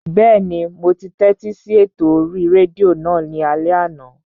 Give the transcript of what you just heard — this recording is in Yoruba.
Bẹ́ẹ̀ni, mo tẹ́tí sí ètò orí rédíò náà ní alẹ́ àná